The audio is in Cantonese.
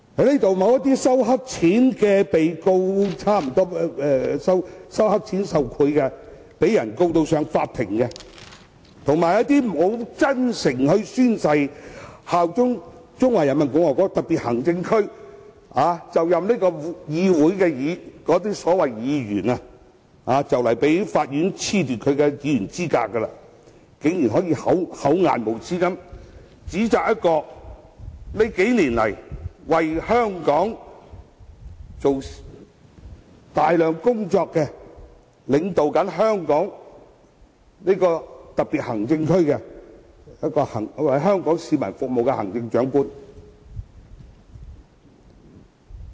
那些因收黑錢受賄而被告上法庭的議員，以及那些沒有真誠宣誓效忠中華人民共和國特別行政區便就任成為立法會議員的所謂議員，雖然快將被法院褫奪其議員資格，但仍然厚顏無耻地指責在這數年間為香港做了大量工作，現正領導香港特別行政區並為香港市民服務的行政長官。